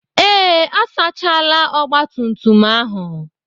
Ee, asachaala ọgbatumtum ahụ.